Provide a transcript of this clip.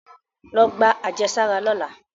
Lọ gba ajesara lọla!